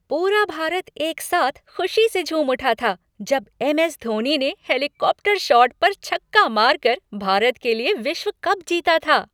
पूरा भारत एक साथ खुशी से झूम उठा था जब एमएस धोनी ने हेलीकॉप्टर शॉट पर छक्का मारकर भारत के लिए विश्व कप जीता था।